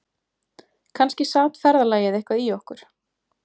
Kannski sat ferðalagið eitthvað í okkur